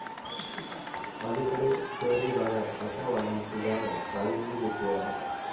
अलीकडे शहरी भागात अशा वाड्यांची जागा चाळींनी घेतली आहे.